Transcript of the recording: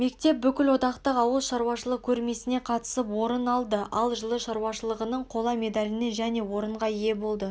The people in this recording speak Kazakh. мектеп бүкілодақтық ауыл шаруашылық көрмесіне қатысып орын алды ал жылы шаруашылығының қола медаліне және орынға ие болды